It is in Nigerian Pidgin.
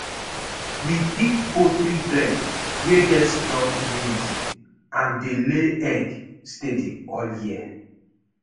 we pick poultry breed wey get strong immunity and dey lay egg steady all year.